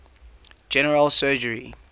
general surgery